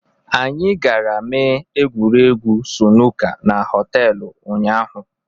Anyị gara mee egwuregwu sunuka na họtelụ ụnyaahụ.